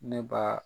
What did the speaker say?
Ne ba